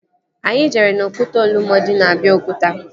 Anyị jere n'okwute Olumo dị na Abiokuta